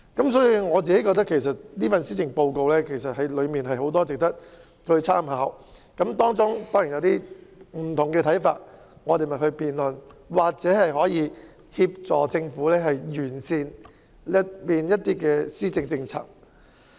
因此，我認為這份施政報告確有很多值得參考之處，大家固然會有不同的看法，但大可以透過辯論，協助政府完善有關的政策。